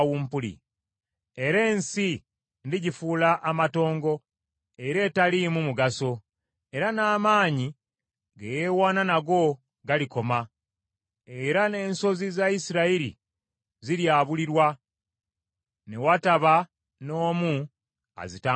Era ensi ndigifuula amatongo era etaliimu mugaso, era n’amaanyi ge yeewaana nago galikoma, era n’ensozi za Isirayiri ziryabulirwa, ne wataba n’omu azitambulirako.